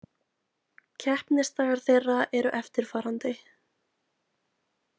Keppnisdagar þeirra eru eftirfarandi